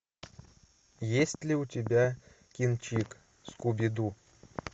есть ли у тебя кинчик скуби ду